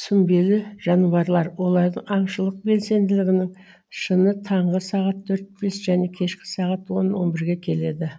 сүмбелі жануарлар олардың аңшылық белсенділігінің шыңы таңғы сағат төрт бес және кешкі сағат он он бірге келеді